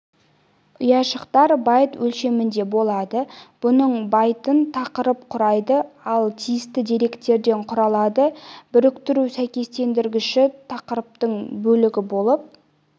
ұяшықтар байт өлшемінде болады бұның байтын тақырып құрайды ал тиісті деректерден құралады біріктіру сәйкестендіргіші тақырыптық бөлігі болып